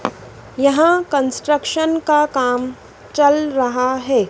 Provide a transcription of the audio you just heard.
यहां कंस्ट्रक्शन का काम चल रहा है।